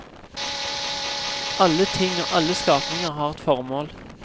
Alle ting og alle skapninger har et formål.